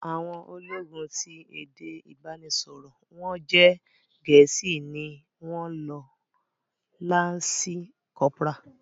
Àwọn ológun ti èdè ìbánisọ̀rò wọ́n jẹ́ Gẹ̀ẹ́sì ni wọ́n lo lansi kọ́pórà